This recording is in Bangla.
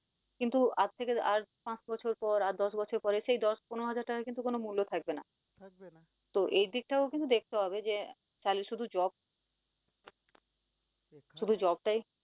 কিন্তু আজ থেকে আর পাঁচ বছর পর, আর দশ বছর পরে সেই দশ পনেরো হাজার টাকা কিন্তু কোন মুল্য থাকবে না তো এই দিকটাও কিন্তু দেখতে হবে যে তাহলে শুধু job শুধু job টাই